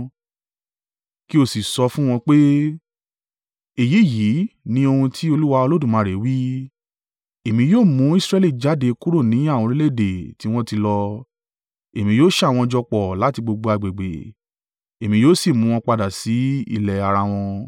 kí ó sì sọ fún wọn pé, ‘Èyí yìí ni ohun tí Olúwa Olódùmarè wí: Èmi yóò mú Israẹli jáde kúrò ní àwọn orílẹ̀-èdè tí wọ́n ti lọ. Èmi yóò ṣà wọ́n jọ pọ̀ láti gbogbo agbègbè, èmi yóò sì mú wọn padà sí ilẹ̀ ara wọn.